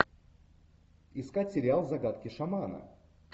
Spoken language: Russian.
искать сериал загадки шамана